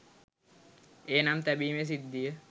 ඒ නම් තැබීමේ සිද්ධිය